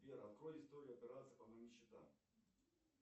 сбер открой историю операций по моим счетам